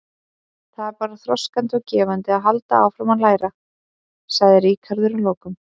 Það er bara þroskandi og gefandi að halda áfram að læra, sagði Ríkharður að lokum.